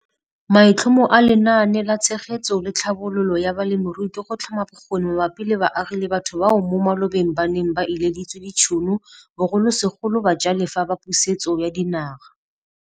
Maitlhomo a Lenaane la Tshegetso le Tlhabololo ya Balemirui ke go tlhoma bokgoni mabapi le baagi le batho bao mo malobeng ba neng ba ileditswe ditšhono, bogolosegolo bajalefa ba Pusetso ya Dinaga.